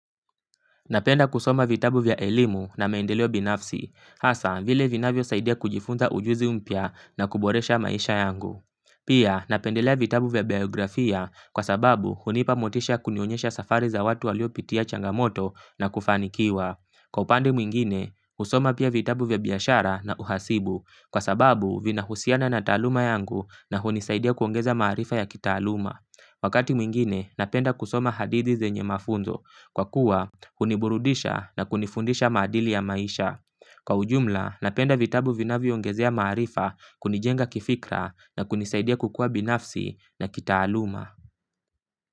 Napenda kusoma vitabu vya elimu na meendeleo binafsi, hasa vile vinavyo saidia kujifunza ujuzi mpya na kuboresha maisha yangu. Pia, napendelea vitabu vya biografia kwa sababu hunipa motisha ya kunionyesha safari za watu waliopitia changamoto na kufanikiwa. Kwa upande mwingine, husoma pia vitabu vya biashara na uhasibu, kwa sababu vinahusiana na taaluma yangu na hunisaidia kuongeza maarifa ya kitaaluma. Wakati mwingine, napenda kusoma hadithi zenye mafunzo kwa kuwa huniburudisha na kunifundisha maadili ya maisha. Kwa ujumla, napenda vitabu vinavyoongezea maarifa, kunijenga kifikra, na kunisaidia kukua binafsi na kitaaluma.